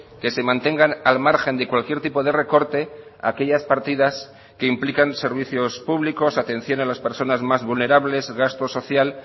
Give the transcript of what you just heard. que se mantengan al margen de cualquier tipo de recorte aquellas partidas que implican servicios públicos atención a las personas más vulnerables gasto social